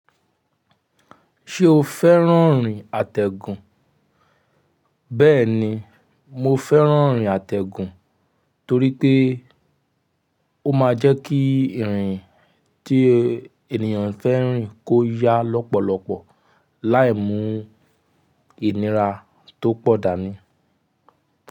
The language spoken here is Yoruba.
Ṣé o fẹ́ràn ìrìn àtẹ̀gùn? Bẹ́ẹ̀ni, mo fẹ́ràn ìrìn àtẹ̀gùn torí pé ó máa ń jẹ́ kí ìrìn tí ènìyàn fẹ́ rìn kó yá lọ́pọ̀lọpọ̀ láì mú ìnira tó pọ̀ dání.